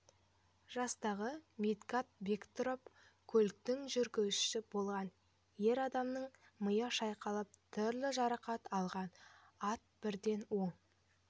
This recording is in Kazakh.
жастағы медгат бектұров көліктің жүргізушісі болған ер адамның миы шайқалып түрлі жарақат алған ат бірден оң